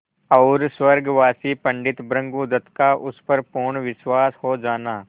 और स्वर्गवासी पंडित भृगुदत्त का उस पर पूर्ण विश्वास हो जाना